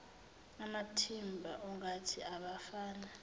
amathimba ongoti abafana